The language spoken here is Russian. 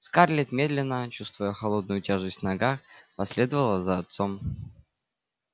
скарлетт медленно чувствуя холодную тяжесть в ногах последовала за отцом